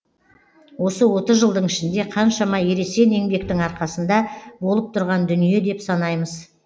осы отыз жылдың ішінде қаншама ересен еңбектің арқасында болып тұрған дүние деп санаймыз